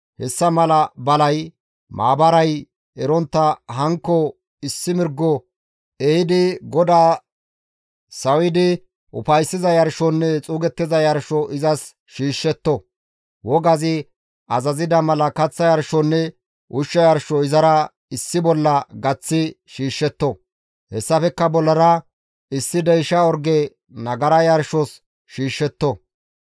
hessa mala balay maabaray erontta hanikko issi mirgo ehidi GODAA sawidi ufayssiza yarshonne xuugettiza yarsho izas shiishshetto; wogazi azaziza mala kaththa yarshonne ushsha yarsho izara issi bolla gaththi shiishshetto; hessafekka bollara issi deysha orge nagara yarshos shiishshetto.